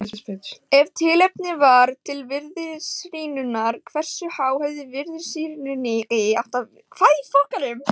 Ef tilefni var til virðisrýrnunar hversu há hefði virðisrýrnunin átt að vera?